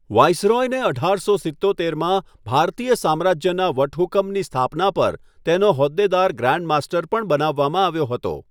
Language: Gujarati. વાઈસરોયને અઢારસો સિત્તોતેરમાં ભારતીય સામ્રાજ્યના વટહુકમની સ્થાપના પર તેનો હોદ્દેદાર ગ્રાન્ડ માસ્ટર પણ બનાવવામાં આવ્યો હતો.